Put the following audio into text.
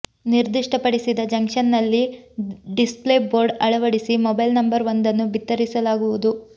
ನಿರ್ದಿಷ್ಟ ಪಡಿಸಿದ ಜಂಕ್ಷನ್ ನಲ್ಲಿ ಡಿಸ್ಪ್ಲೇ ಬೋರ್ಡ್ ಅಳವಡಿಸಿ ಮೊಬೈಲ್ ನಂಬರ್ ವೊಂದನ್ನು ಬಿತ್ತರಿಸಲಾಗುವುದು